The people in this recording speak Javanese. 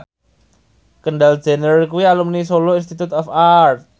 Kendall Jenner kuwi alumni Solo Institute of Art